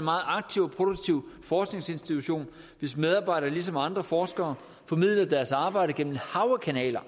meget aktiv og produktiv forskningsinstitution hvis medarbejdere ligesom andre forskere formidler deres arbejde gennem et hav af kanaler